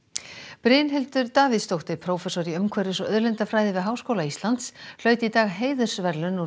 Brynhildur Davíðsdóttir prófessor í umhverfis og auðlindafræði við Háskóla Íslands hlaut í dag heiðursverðlaun úr